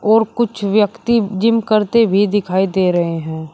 और कुछ व्यक्ति जिम करते भी दिखाई दे रहे हैं।